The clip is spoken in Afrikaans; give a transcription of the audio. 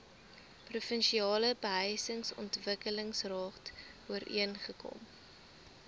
provinsiale behuisingsontwikkelingsraad ooreengekom